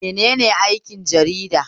Menene aikin jarida?